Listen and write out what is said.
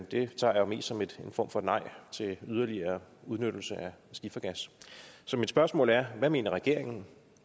det tager jeg jo mest som en form for et nej til yderligere udnyttelse af skifergas så mit spørgsmål er hvad mener regeringen